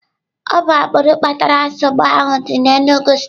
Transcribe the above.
Ọ bụ agbụrụ kpatara nsogbu ahụ dị n'Enugwu steeti.